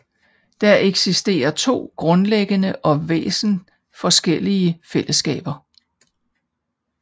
Der eksisterer to grundlæggende og væsensforskellige fællesskaber